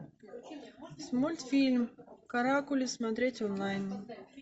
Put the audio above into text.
мультфильм каракули смотреть онлайн